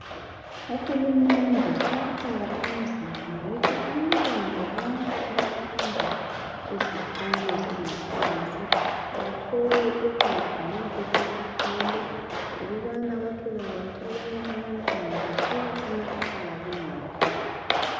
Uhulumende sowafaka imizamo ukuthi abantwana bonke abafunda ezikolo zangaphansi bathole ukudla ma besesikolo ngokubana kwatholakala ukubana abanye abantwana basuka emakhaya bangadlanga.